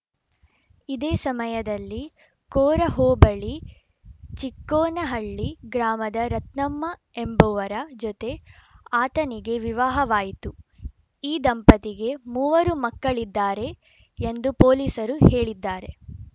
ಇದೇ ಸಮಯದಲ್ಲಿ ಕೋರ ಹೋಬಳಿ ಚಿಕ್ಕೋನಹಳ್ಳಿ ಗ್ರಾಮದ ರತ್ನಮ್ಮ ಎಂಬುವರ ಜತೆ ಆತನಿಗೆ ವಿವಾಹವಾಯಿತು ಈ ದಂಪತಿಗೆ ಮೂವರು ಮಕ್ಕಳಿದ್ದಾರೆ ಎಂದು ಪೊಲೀಸರು ಹೇಳಿದ್ದಾರೆ